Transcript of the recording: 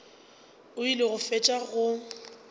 o ile go fetša go